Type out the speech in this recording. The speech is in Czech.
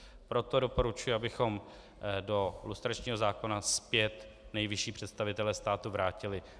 Proto doporučuji, abychom do lustračního zákona zpět nejvyšší představitele státu vrátili.